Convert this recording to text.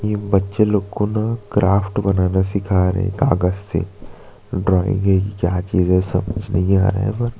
ये बच्चे लोग को ना क्राफ्ट बनाना सिखा रहे है कागज़ से ड्राइंग है क्या चीज है समझ नही आ रहा है पर--